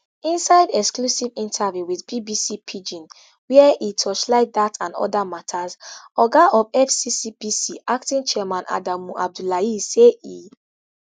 inside exclusive interview with bbc pidgin wia e torchlight dat and oda matas oga of fccpc acting chairman adamu abdullahi say e